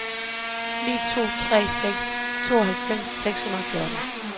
ni to tre seks tooghalvfems seks hundrede og fjorten